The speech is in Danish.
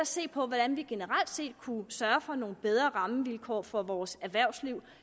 se på hvordan vi generelt set kunne sørge for nogle bedre rammevilkår for vores erhvervsliv